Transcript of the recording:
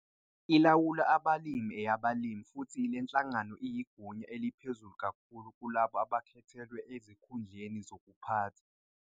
Ilawulwa abalimi eyabalimi futhi leNhlangano iyigunya eliphezulu kakhulu kulabo abakhethelwe ezikhundleni zokuphatha.